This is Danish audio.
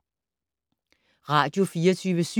Radio24syv